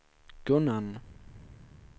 Gunnarn